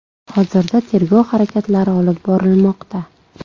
Hozirda tergov harakatlari olib bormoqda.